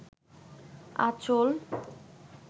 আচঁল